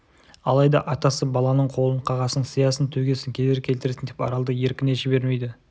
алайда атасы баланың қолын қағасың сиясын төгесің кедергі келтіресің деп аралды еркіне жібермейді